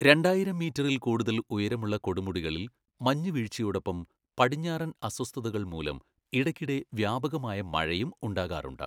രണ്ടായിരം മീറ്ററിൽ കൂടുതൽ ഉയരമുള്ള കൊടുമുടികളിൽ മഞ്ഞുവീഴ്ചയോടൊപ്പം പടിഞ്ഞാറൻ അസ്വസ്ഥതകൾ മൂലം ഇടയ്ക്കിടെ വ്യാപകമായ മഴയും ഉണ്ടാകാറുണ്ട്.